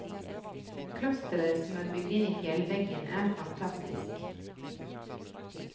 Klosteret som er bygd inn i fjellveggen er fantastisk.